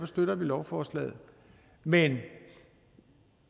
støtter vi lovforslaget men